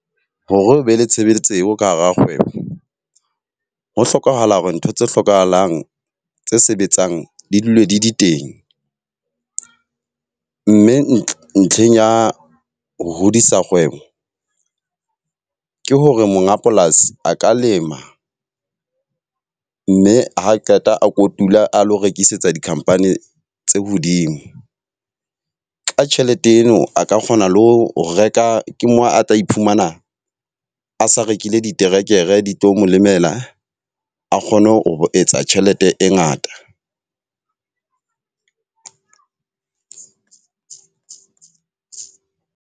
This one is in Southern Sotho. Hore o be le tshebeletso eo ka hara kgwebo, ho hlokahala hore ntho tse hlokahalang tse sebetsang di dule di di teng. Mme ntlheng ya ho hodisa kgwebo ke hore monga polasi a ka lema. Mme ha qeta a kotula a lo rekisetsa di-company tse hodimo. Ka tjhelete eno, a ka kgona le ho reka ke mo a tla iphumana a sa rekile diterekere di tlo mo lemela a kgone ho etsa tjhelete e ngata.